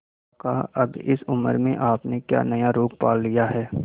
काका अब इस उम्र में आपने क्या नया रोग पाल लिया है